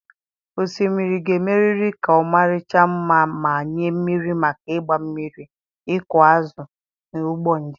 Osimiri ga-emerịrị ka ọmarịcha mma ma nye mmiri maka ịgba mmiri, ịkụ azụ, na ụgbọ njem.